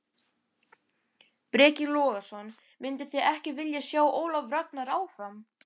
Breki Logason: Mynduð þið ekki vilja sjá Ólaf Ragnar áfram?